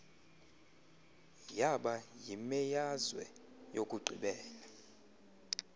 yaba yimeazwe yokugqibela